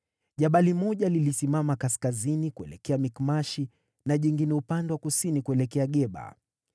Jabali moja lilisimama kaskazini kuelekea Mikmashi na jingine upande wa kusini kuelekea Geba.